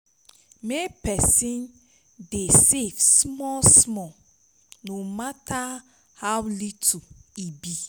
mek pesin try dey safe smal smal no mata ow little e be